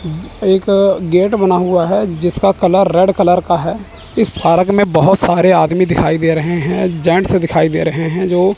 एक गेट बना हुआ है जिसका कलर रेड कलर का है इस पार्क में बहोत सारे आदमी दिखाई दे रहे है जेंट्स दिखाई दे रहे है जो--